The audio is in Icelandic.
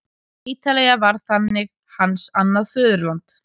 Ítalía varð þannig hans annað föðurland.